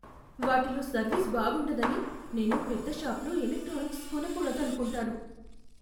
వాటిలో సర్వీస్ బాగుండదని నేను పెద్ద షాపుల్లో ఎలక్ట్రానిక్స్ కొనకూడదు అనుకుంటాను.